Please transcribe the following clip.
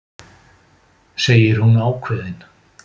segir hún ákveðin.